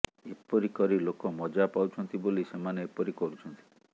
ଏପରି କରି ଲୋକ ମଜ୍ଜା ପାଉଛନ୍ତି ବୋଲି ସେମାନେ ଏପରି କରୁଛନ୍ତି